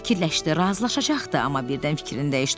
Tom fikirləşdi, razılaşacaqdı, amma birdən fikrini dəyişdi.